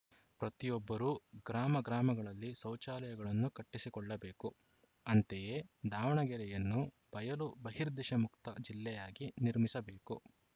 ಪ್ರತಿಯೊಬ್ಬರೂ ಗ್ರಾಮ ಗ್ರಾಮಗಳಲ್ಲಿ ಶೌಚಾಲಯಗಳನ್ನು ಕಟ್ಟಿಸಿಕೊಳ್ಳಬೇಕು ಅಂತೆಯೇ ದಾವಣಗೆರೆಯನ್ನು ಬಯಲು ಬಹಿರ್ದೆಸೆಮುಕ್ತ ಜಿಲ್ಲೆಯಾಗಿ ನಿರ್ಮಿಸಬೇಕು